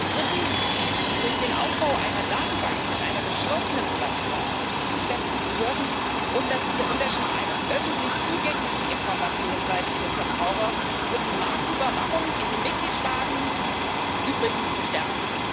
Drittens Durch den Aufbau einer Datenbank mit einer geschlossenen Plattform für die zuständigen Behörden und das ist der Unterschied einer öffentlich zugänglichen Informationsseite für Verbraucher wird die Marktüberwachung in den Mitgliedstaaten übrigens gestärkt.